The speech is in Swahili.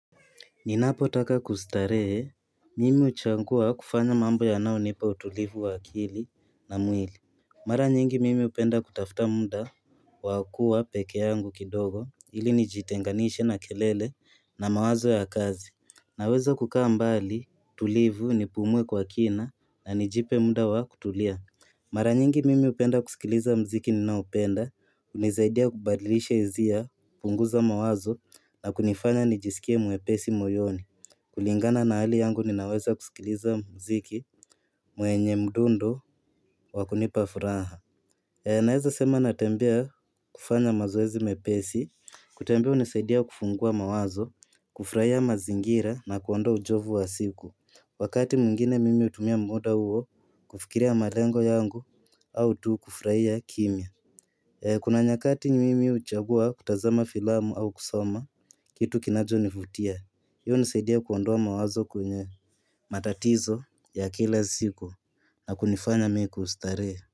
Ninapo taka kustaheye, mimi uchangua kufanya mambo yanaonipa utulivu wakili na mwili. Mara nyingi mimi upenda kutafta muda wakuwa peke yangu kidogo ili nijitenganishe na kelele na mawazo ya kazi. Naweza kukaa mbali tulivu ni pumue kwa kina na nijipe muda wakutulia. Mara nyingi mimi hupenda kusikiliza mziki ninaopenda, unizaidia kubadilisha hisia, punguza mawazo na kunifanya nijisikie mwepesi moyoni. Kulingana na hali yangu ninaweza kusikiliza mziki mwenye mdundo wakunipa furaha. Naeza sema natembea kufanya mazoezi mepesi, kutembea unizaidia kufungua mawazo, kufuraha mazingira na kuondo ujovu wa siku. Wakati mwingine mimi utumia muda huo kufikiria malengo yangu au tu kufurahia kimya Kuna nyakati mimi uchagua kutazama filamu au kusoma kitu kinachofutia, hiyo uzaidia kuondoa mawazo kwenye matatizo ya kila siku na kunifanya mimi kustarehe.